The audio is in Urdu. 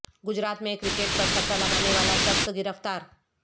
گجرات میں کرکٹ پر سٹہ لگانے والا شخص گرفتار